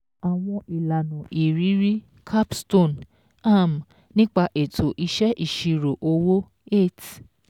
ÀWỌN ÌLÀNÀ ÌRÍRÍ CAPSTONE um NÍPA ÈTÒ IṢẸ́ ÌṢIRÒ OWÓ eight